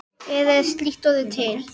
Eða er slíkt orð til?